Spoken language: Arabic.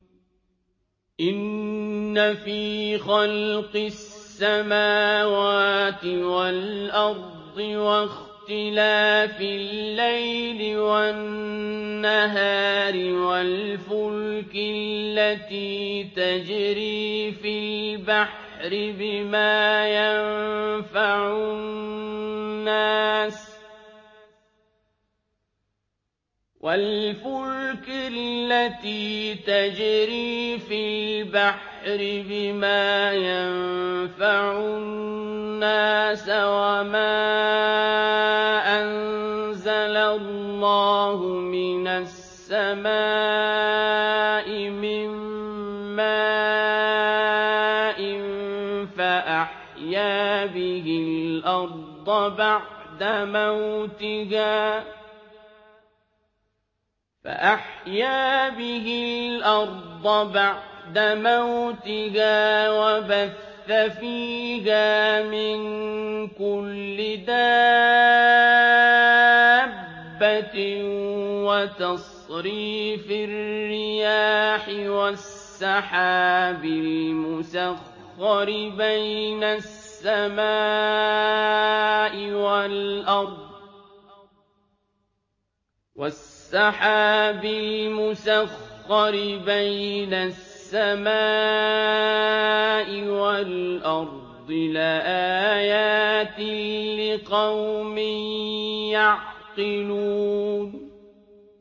إِنَّ فِي خَلْقِ السَّمَاوَاتِ وَالْأَرْضِ وَاخْتِلَافِ اللَّيْلِ وَالنَّهَارِ وَالْفُلْكِ الَّتِي تَجْرِي فِي الْبَحْرِ بِمَا يَنفَعُ النَّاسَ وَمَا أَنزَلَ اللَّهُ مِنَ السَّمَاءِ مِن مَّاءٍ فَأَحْيَا بِهِ الْأَرْضَ بَعْدَ مَوْتِهَا وَبَثَّ فِيهَا مِن كُلِّ دَابَّةٍ وَتَصْرِيفِ الرِّيَاحِ وَالسَّحَابِ الْمُسَخَّرِ بَيْنَ السَّمَاءِ وَالْأَرْضِ لَآيَاتٍ لِّقَوْمٍ يَعْقِلُونَ